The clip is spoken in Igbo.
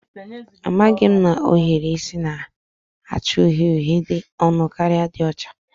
Amaghị m na ohiri isi na-acha uhie uhie dị ọnụ karịa ndị ọcha